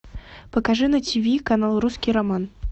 покажи на ти ви канал русский роман